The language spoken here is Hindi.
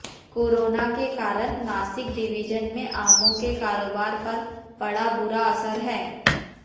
कोरोना के कारण नासिक डिविजन में आमों के कारोबार पर पड़ा बुरा असर है